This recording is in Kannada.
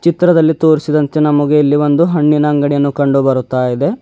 ಚಿತ್ರದಲ್ಲಿ ತೋರಿಸಿದಂತೆ ನಮಗೆ ಇಲ್ಲಿ ಒಂದು ಹಣ್ಣಿನ ಅಂಗಡಿಯನ್ನು ಕಂಡು ಬರುತ್ತಾ ಇದೆ.